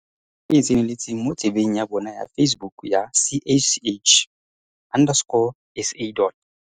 O ka iponela gape tshedimosetso e e tseneletseng mo tsebeng ya bona ya Facebook ya CACH underscore SA dot